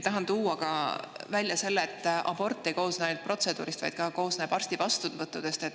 Tahan tuua välja ka selle, et abort ei koosne ainult protseduurist, vaid ka arsti vastuvõttudest.